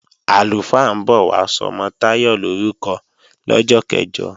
Àlùfáà ń bọ̀ wá sọmọ Táyọ̀ lorúkọ lọ́jọ́ kẹ̀jọ